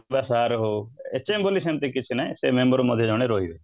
ବା sir ହଉ HM ବୋଲି ସେମିତି କିଛି ନାହିଁ ସେ member ମଧ୍ୟ ଜଣେ ରହିବେ